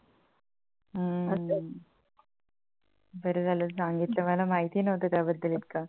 बर झालं सांगितलं मला माहिती नव्हतं त्याबद्दल इतका